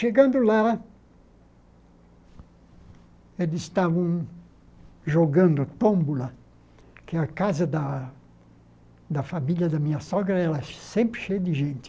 Chegando lá, eles estavam jogando tómbola, que a casa da da família da minha sogra era sempre cheia de gente.